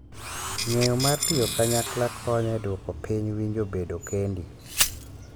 Ng’eyo mar tiyo kanyakla konyo e duoko piny winjo bedo kendi